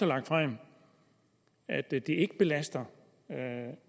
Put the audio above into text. lagt frem at det ikke belaster